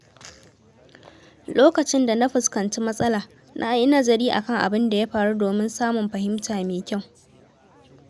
Lokacin da na fuskanci matsala, na yi nazari kan abin da ya faru domin samun fahimta mai kyau.